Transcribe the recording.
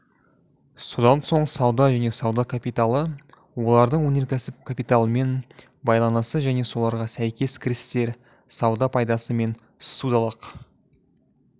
содан соң сауда және сауда капиталы олардың өнеркәсіп капиталымен байланысы және соларға сәйкес кірістер сауда пайдасы мен ссудалық